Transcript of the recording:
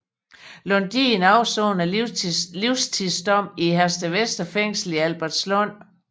Lundin afsoner sin livstidsdom i Herstedvester Fængsel i Albertslund